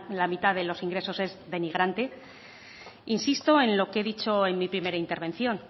la mitad de los ingresos es denigrante insisto en lo que he dicho en mi primera intervención